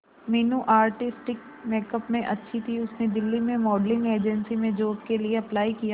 Meenu artistic makeup में अच्छी थी उसने दिल्ली में मॉडलिंग एजेंसी में जॉब के लिए अप्लाई किया